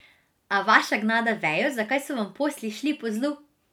A vaša gnada vejo, zakaj so vam posli šli po zlu?